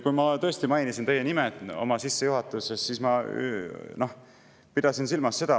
Kui ma tõesti mainisin teie nime oma sissejuhatuses, siis ma pidasin silmas seda …